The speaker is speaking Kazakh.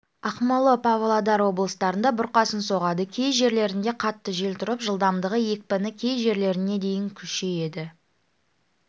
ақмола павлодар облыстарында бұрқасын соғады кей жерлерінде қатты жел тұрып жылдамдығы екпіні кей жерлерінде дейін күшейеді